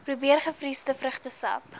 probeer gevriesde vrugtesap